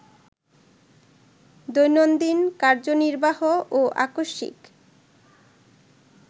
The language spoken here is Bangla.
দৈনন্দিন কার্যনির্বাহ ও আকস্মিক